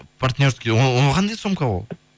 партнерский ол қандай сумка ол